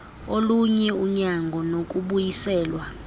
olunye unyango nokubuyiselwa